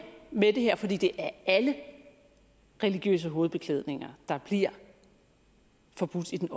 med det her for det det er alle religiøse hovedbeklædninger der bliver forbudt i den